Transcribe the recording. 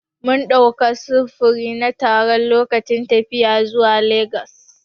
Mun ɗauka sufuri na taro lokacin tafiya zuwa legas.